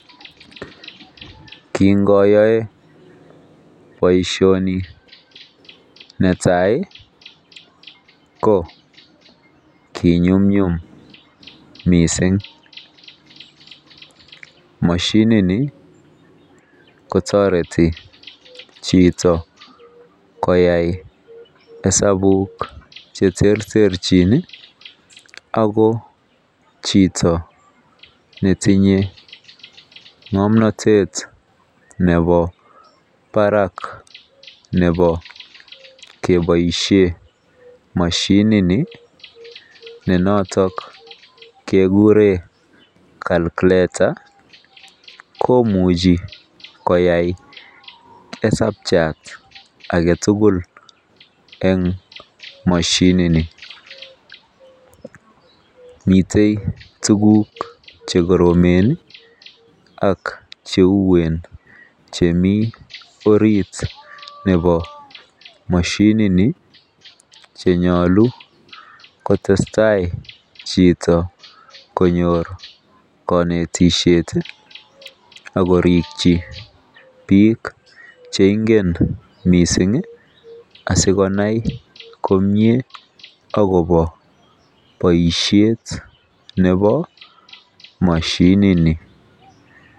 Kingoyoe baishoni netai ko konyumyume mising mashinit Ni kotareti Chito koyae hesabut cheterterchin ako Chito netinyengamnatet Nebo Barak Nebo kebaishen mashinit Ni NE noton kekuren calculator koimuchi koyae hesabchatagetugul en mashinit Ni miten tuguk chekoromen ak cheuwen chemi orit komashinit konyalu kotestai Chito konyor kanetishet akoriki bik cheigen mising asikonai komie akoba baishet Nebo mashinit ni